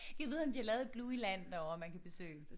Gad vide om de har lavet et Blueyland derovre man kan besøge